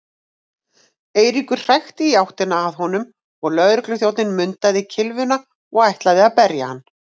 Eiríkur hrækti í áttina að honum og lögregluþjónninn mundaði kylfuna og ætlaði að berja hann.